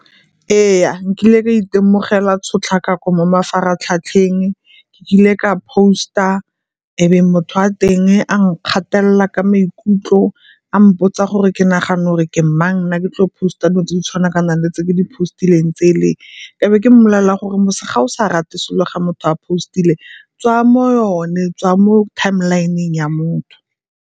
Ee, nkile ka itemogela tshotlakako mo mafaratlhatlheng. Nkile ka post-a e be motho wa teng a nkgatelela ka maikutlo a mpotsa gore ke nagana 'ore ke mang nna ke tlo post-a dilo tse tshwana ka nang le tse ke di post-ileng tsele. E be ke mobolelela gore mose ga o sa rate selo ga motho a post-ile tswaya mo yone, tswaya mo timeline-ng ya motho.